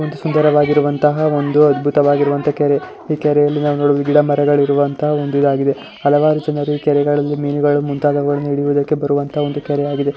ಒಂದು ಸುಂದರವಾಗಿರುವಂತಹ ಒಂದು ಅದ್ಬುತವಾಗಿರುವಂತಹ ಕೆರೆ ಈ ಕೆರೆಯಲ್ಲಿ ನಾವು ನೋಡಬಹುದು ಗಿಡ ಮರಗಳು ಇರುವಂತಹ ಒಂದು ಇದಾಗಿದೆ ಹಲವಾರು ರೀತಿಯಾಗಿ ಮೀನುಗಳು ಹಾಗು ಮೀನುಗಲ್ಲನ್ನ ಹಿಡಿಯುವುದಕ್ಕೆ ಬರುವಂತ ಒಂದು ಕೆರೆ.